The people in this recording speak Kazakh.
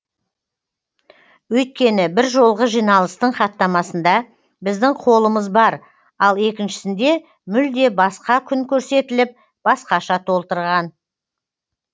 өйткені бір жолғы жиналыстың хаттамасында біздің қолымыз бар ал екіншісінде мүлде басқа күн көрсетіліп басқаша толтырған